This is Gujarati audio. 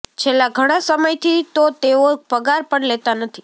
છેલ્લાં ઘણાં સમયથી તો તેઓ પગાર પણ લેતા નથી